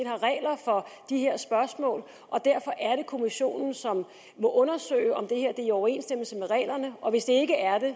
har regler for de her spørgsmål og derfor er det kommissionen som må undersøge om det her er i overensstemmelse med reglerne hvis det ikke er det